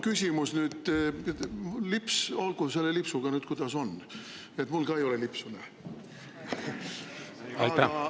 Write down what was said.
Olgu selle lipsuga, kuidas on, mul ka ei ole lipsu ees.